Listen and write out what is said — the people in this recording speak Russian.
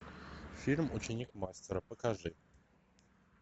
фильм ученик мастера покажи